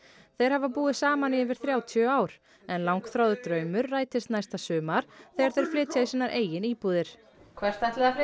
þeir hafa búið saman í yfir þrjátíu ár en langþráður draumur rætist næsta sumar þegar þeir flytja í sínar eigin íbúðir hvert ætlið þið